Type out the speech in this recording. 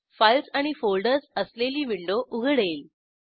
files आणि folders असलेली window उघडेल